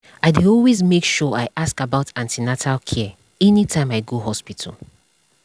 i dey always make sure i ask about an ten atal care anytime i go hospital